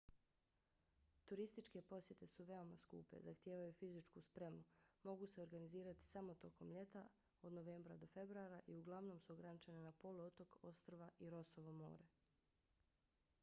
turističke posjete su veoma skupe zahtijevaju fizičku spremu mogu se organizirati samo tokom ljeta od novembra do februara i uglavnom su ograničene na poluotok ostrva i rossovo more